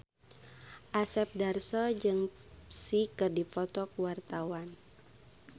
Asep Darso jeung Psy keur dipoto ku wartawan